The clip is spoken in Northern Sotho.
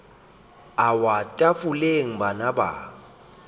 a wa tafoleng bana ba